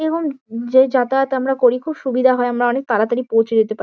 এবং যে যাতায়াত আমরা করি খুব সুবিধা হয়। আমরা অনেক তাড়াতাড়ি পৌঁছে যেতে পা--